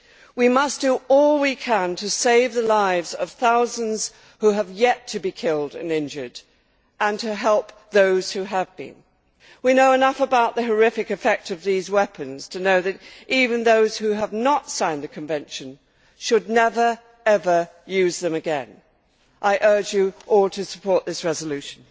We must do all we can to save the lives of thousands who have yet to be killed and injured and to help those who have been. We know enough about the horrific effects of these weapons to know that even those who have not signed the convention should never ever use them again. I urge you all to support this resolution.